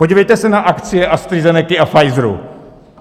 Podívejte se na akcie AstraZenecy a Pfizeru!